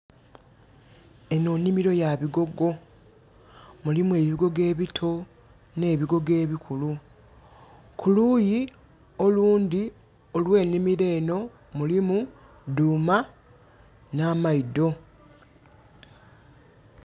Enho nnhimiro ya bigogo, mulimu ebigogo ebito nhe bigogo ebikulu. Kuluuyi olundhi olw'enhimiro enho mulimu dhuma nha maidho.